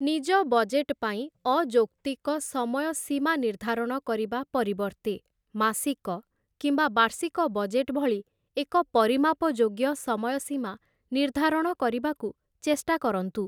ନିଜ ବଜେଟ୍‌ ପାଇଁ ଅଯୌକ୍ତିକ ସମୟ ସୀମା ନିର୍ଦ୍ଧାରଣ କରିବା ପରିବର୍ତ୍ତେ, ମାସିକ କିମ୍ବା ବାର୍ଷିକ ବଜେଟ୍‌ ଭଳି ଏକ ପରିମାପଯୋଗ୍ୟ ସମୟସୀମା ନିର୍ଦ୍ଧାରଣ କରିବାକୁ ଚେଷ୍ଟା କରନ୍ତୁ ।